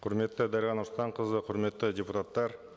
құрметті дариға нұрсұлтанқызы құрметті депутаттар